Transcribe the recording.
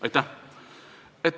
Aitäh!